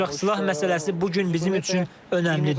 Ancaq silah məsələsi bu gün bizim üçün önəmlidir.